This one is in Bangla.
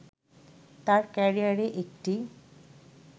তার ক্যারিয়ারে একটি